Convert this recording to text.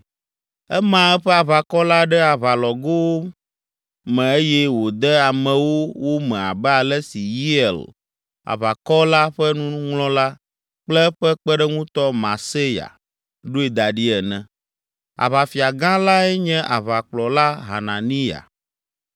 Ema eƒe aʋakɔ la ɖe aʋalɔglowo me eye wòde amewo wo me abe ale si Yeiel, aʋakɔ la ƒe nuŋlɔla kple eƒe kpeɖeŋutɔ Maaseya, ɖoe da ɖi ene. Aʋafia gã lae nye aʋakplɔla Hananiya.